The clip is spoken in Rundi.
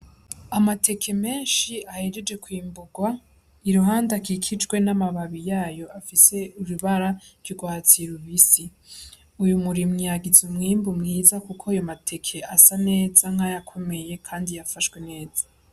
Amateke menshi ahejeje kwimbugwa iruhande akikijwe n' amababi yayo afise ibara ry'ugwatsi rubisi, uyu murimyi yagize umwimbu mwiza kuko ayo mateke asa neza nk' ayakomeye kandi yafashwe neza.